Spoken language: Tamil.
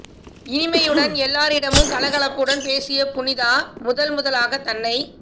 இனிமையுடன் எல்லாரிடமும் கல கலப்புடன் பேசிய புனிதா முதல் முதலாகத் தன்னை